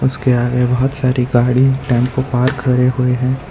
उसके आगे बहोत सारी गाड़ी टेंपो पार्क करे हुए है।